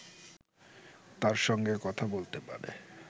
তার সঙ্গে কথা বলতে পারে